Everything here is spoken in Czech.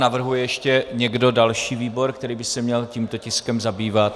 Navrhuje ještě někdo další výbor, který by se měl tímto tiskem zabývat?